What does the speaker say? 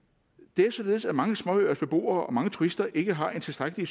det er således at mange småøers beboere og mange turister ikke har en tilstrækkelig